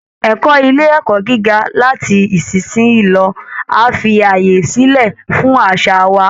Ẹ̀kọ́ ilé ẹ̀kọ́ gíga láti ìsinsìnyí lọ á fi àyè sílẹ̀ fún àṣà wa